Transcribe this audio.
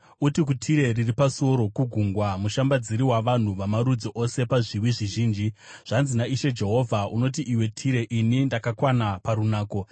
Uti kuTire, riri pasuo rokugungwa, mushambadziri wavanhu vamarudzi ose pazviwi zvizhinji, ‘Zvanzi naIshe Jehovha: “ ‘Unoti, iwe Tire, “Ini ndakakwana parunako.”